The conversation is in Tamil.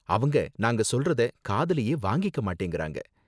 அவங்க நாங்க சொல்றத காதுலயே வாங்கிக்க மாட்டேங்குறாங்க